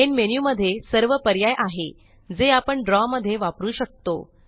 main menu मध्ये सर्व पर्याय आहे जे आपण ड्रॉ मध्ये वापरू शकतो